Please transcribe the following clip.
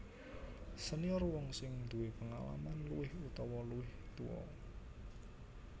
Senior wong sing duwé pengalaman luwih utawa luwih tuwa